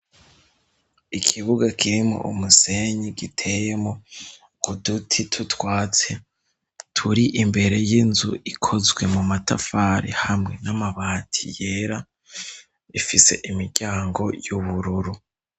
Ikibuga kirimwo umusenyi giteyemwo uduti tw'utwatsi turi imbere y'inzu ikozwe mu matafari hamwe n'amabati yera, ifise imiryango y'ubururu.